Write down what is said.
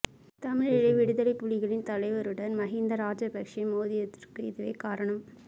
தமிழீழ விடுதலைப் புலிகளின் தலைவருடன் மஹிந்த ராஜபக்ஷ மோதியதற்கு இதுவே காரணம்